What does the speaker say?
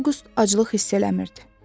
Avqust aclıq hiss eləmirdi.